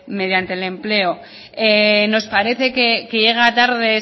mediante el empleo nos parece que llega tarde